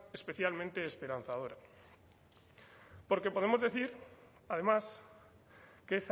especialmente esperanzadora porque podemos decir además que